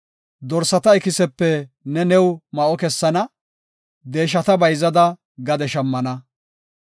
dorsata ikisepe ne new ma7o kessana; deeshata bayzada gade shammana.